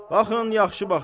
Baxın, yaxşı baxın.